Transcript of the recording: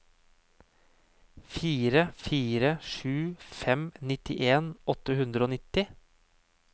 fire fire sju fem nittien åtte hundre og nittini